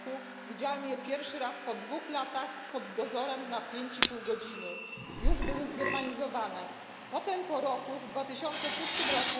r. widziałem je pierwszy raz po dwóch latach pod dozorem przez pięć i pół godziny już były zgermanizowane potem po roku, w 2006 r.,